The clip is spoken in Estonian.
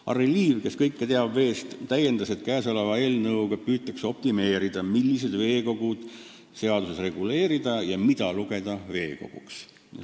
Harry Liiv, kes veest kõike teab, täiendas, et eelnõuga püütakse saavutada optimaalne lahendus, millistesse veekogudesse puutuvat seaduses reguleerida ja mida lugeda veekoguks.